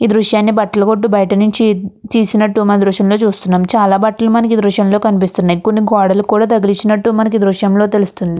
ఈ దృశ్యాన్ని బట్టల కొట్టు బయట నుంచి తీసినట్టు మనం దృశ్యంలో చూస్తున్నాం. చాల బట్టలు మనకి ఈ దృశ్యంలో కనిపిస్తున్నాయి. కొన్ని గోడలకి కూడా తగిలించిన్నటు మనకి ఈ దృశ్యంలో తెలుస్తుంది.